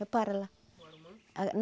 Repara lá.